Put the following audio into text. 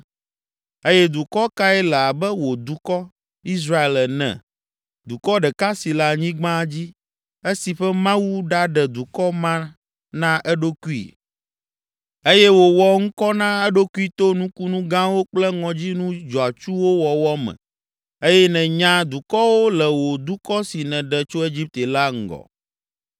Eye dukɔ kae le abe wò dukɔ, Israel ene, dukɔ ɖeka si le anyigba dzi, esi ƒe Mawu ɖaɖe dukɔ ma na eɖokui? Eye wòwɔ ŋkɔ na eɖokui to nukunu gãwo kple ŋɔdzinu dzɔatsuwo wɔwɔ me eye nènya dukɔwo le wò dukɔ si nèɖe tso Egipte la ŋgɔ.